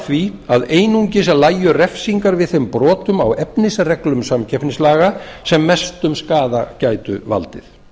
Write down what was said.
því að einungis lægju refsingar við þeim brotum á efnisreglum samkeppnislaga sem mestum skaða gætu valdið